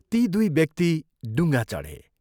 ती दुइ व्यक्ति डुङ्गा चढे।